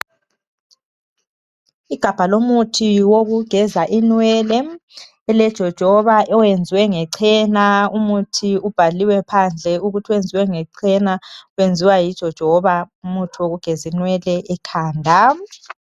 igabha lomuthi wokugeza inwele ele jojoba elenzwe ngechena umuthi ubhaliwe phandle ukuthi wenziwe ngechena wenziwa yijojoba umuthi wokugeza inwele ekhanda